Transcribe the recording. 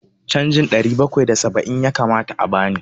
Canjin ɗari bakwai da saba'in ya kamata a bani.